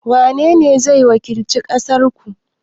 wanene zai wakilci ƙasar ku?